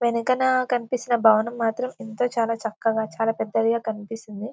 వెనకన కనిపిస్తున్న భవనం మాత్రం ఎంత చాలా చక్కగా చాలా పెద్దది గా కనిపిస్తుంది.